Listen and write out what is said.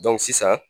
sisan